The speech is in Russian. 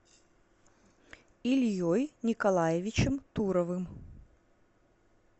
ильей николаевичем туровым